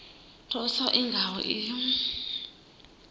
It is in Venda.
thuso i nga ho iyi